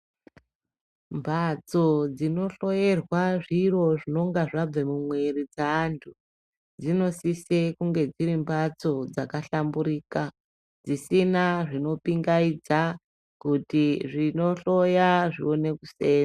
Mbatso dzinohloyerwa zviro zvinonga zvabva mumwiri dzeantu, dzinosise kunge dzirimbatso dzakahlamburika ,dzisina zvinopingayidza kuti zvinohloya zviwone kuseenza.